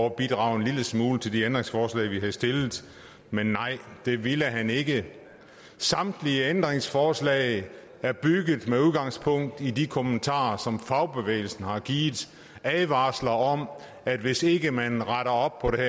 at bidrage en lille smule til de ændringsforslag vi havde stillet men nej det ville han ikke samtlige ændringsforslag er bygget op med udgangspunkt i de kommentarer som fagbevægelsen har givet advarsler om at hvis ikke man retter op på det